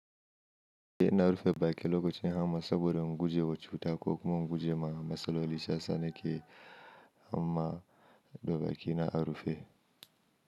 Eh ina rufe baƙi lokacin hamma saboda in guje wa cuta ko kuma in guje ma matsaloli. Shi yasa ni ke amma da baki na a rufe.